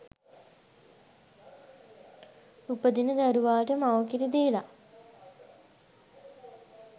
උපදින දරුවාට මව්කිරි දීලා